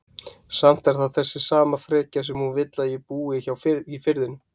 Samt er það þessi sama frekja sem hún vill að ég búi hjá í Firðinum.